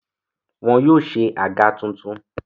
Wọn yóò se àga tuntun.